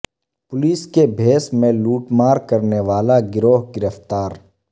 police کے بھیس میں لوٹ مار کرنے والا گروہ گرفتار